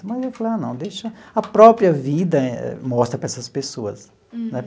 Mas eu falei, ah, não, deixa... A própria vida mostra para essas pessoas né.